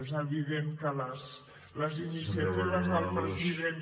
és evident que les iniciatives del president